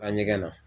A ɲɛgɛn na